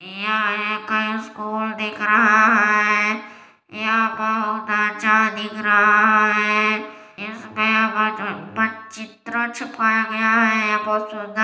यह कोई स्कूल दिख रहा हैं यहाँ क तो अच्छा दिख रहा हैं इसमें चित्र चिपाया गया हैं पोस्टर --]